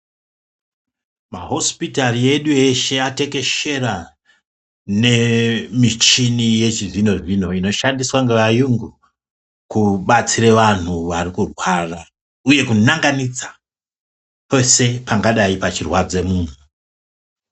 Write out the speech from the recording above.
Mahosipitari edu eshe atekeshera nemichini yechizvino-zvino inoshandiswe ngevayungu kubatsire vanthu varikurwara uye kunanganidza pese pangadai pechirwadza munhu.